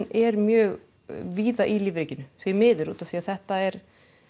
er mjög víða í lífríkinu því miður því þetta er